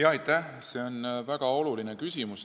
Aitäh, see on väga oluline küsimus.